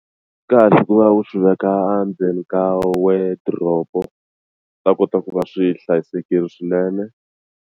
Swi kahle ku va u swi veka endzeni ka wardrobe-o swi ta kota ku va swi hlayisekile swinene.